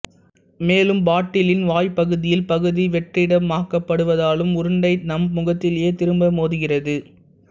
மேலும் பாட்டிலின் வாய்ப் பகுதியில் பகுதி வெற்றிடமாக்கபடுவதாலும் உருண்டை நம் முகத்திலேயே திரும்ப மோதுகிறது